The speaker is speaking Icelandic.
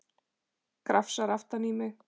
Krafsar aftan í mig.